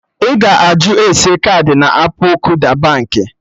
Ị ga-ajụ ese kaadị na appụ Kuda Baankị